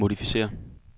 modificér